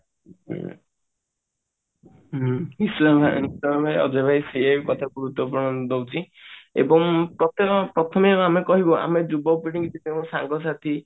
ଉଁ ଅଜୟ ଅଭୟ ସେଇଆ ହିଁ କଥା ଦଉଛି ଏବଂ ପ୍ରଥମେ ଆମେ କହିବା ଆମ ଯୁବପିଢି କି ସାଙ୍ଗସାଥି